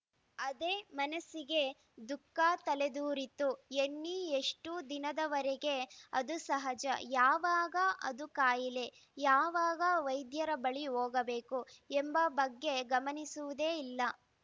ಅದೇ ಮನಸ್ಸಿಗೆ ದುಃಖ ತಲೆದೋರಿತು ಎನ್ನಿ ಎಷ್ಟುದಿನದವರೆಗೆ ಅದು ಸಹಜ ಯಾವಾಗ ಅದು ಕಾಯಿಲೆ ಯಾವಾಗ ವೈದ್ಯರ ಬಳಿ ಹೋಗಬೇಕು ಎಂಬ ಬಗ್ಗೆ ಗಮನಿಸುವುದೇ ಇಲ್ಲ